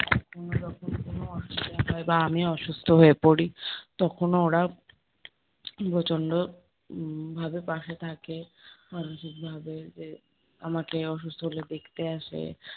যখন কোনো অসুবিধা হয় বা আমি অসুস্থ হয়ে পরি, তখনও ওরা প্রচন্ড উম ভাবে পাশে থাকে, মানসিক ভাবে যে আমাকে অসুস্থ হলে দেখতে আসে।